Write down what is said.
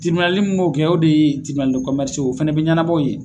Tibinali mun b'o kɛ o de ye tibinali ye o fana bɛ ɲɛnabɔ yen.